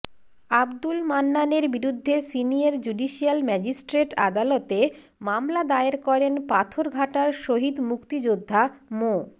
আবদুল মান্নানের বিরুদ্ধে senior judicial magistrate আদালতে মামলা দায়ের করেন পাথরঘাটার শহীদ মুক্তিযোদ্ধা মো